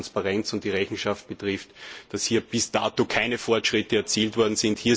Was die Transparenz und die Rechenschaft betrifft, sind hier bis dato keine Fortschritte erzielt worden.